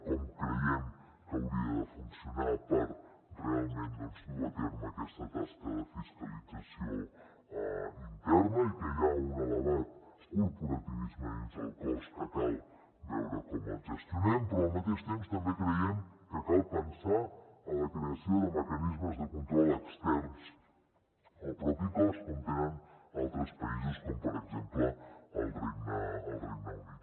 com creiem que hauria de funcionar per realment dur a terme aquesta tasca de fiscalització interna i que hi ha un elevat corporativisme dins el cos que cal veure com gestionem però al mateix temps també creiem que cal pensar en la creació de mecanismes de control externs al mateix cos com tenen altres països com per exemple el regne unit